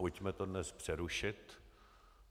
Pojďme to dnes přerušit.